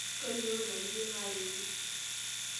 Tolikioki ina niyieu naaretie.